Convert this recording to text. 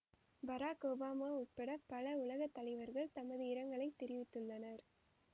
பராக் Obama உட்பட பல உலக தலைவர்கள் தமது இரங்கலைத் தெரிவித்துள்ளனர்